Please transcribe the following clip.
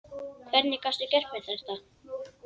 Hvernig gastu gert mér þetta?